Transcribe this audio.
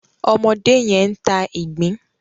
ọmọdé yén ń tá ìgbín.